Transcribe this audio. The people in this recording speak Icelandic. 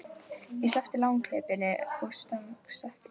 En ég sleppti langhlaupum og stangarstökki.